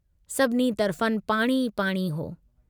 सभिनी तरफ़नि पाणी ई पाणी हो।